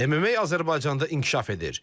MMA Azərbaycanda inkişaf edir.